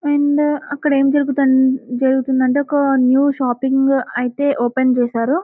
And అక్కడ ఎం జరుగుతుంది జరుగుతుందంటే ఒక న్యూ షాపింగ్ అయితే ఓపెన్ చేశారు.